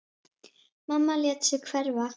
Mamma lét sig hverfa.